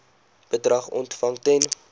bedrag ontvang ten